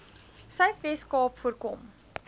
suidwes kaap voorkom